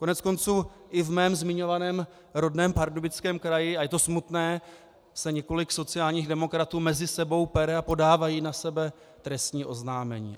Koneckonců i v mém zmiňovaném rodném Pardubickém kraji, a je to smutné, se několik sociálních demokratů mezi sebou pere a podávají na sebe trestní oznámení.